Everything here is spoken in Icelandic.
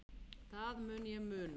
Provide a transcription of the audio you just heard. Það mun ég muna.